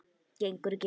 Gengur ekki.